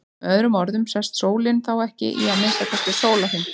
Með öðrum orðum sest sólin þá ekki í að minnsta kosti sólarhring.